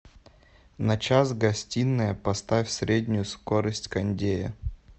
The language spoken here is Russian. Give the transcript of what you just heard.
на час гостиная поставь среднюю скорость кондея